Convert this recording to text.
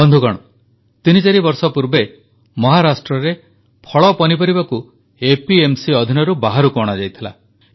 ବନ୍ଧୁଗଣ ତିନି ଚାରି ବର୍ଷ ପୂର୍ବେ ମହାରାଷ୍ଟ୍ରରେ ଫଳପନିପରିବାକୁ ଏପିଏମସି ଅଧୀନରୁ ବାହାରକୁ ଅଣାଯାଇଥିଲା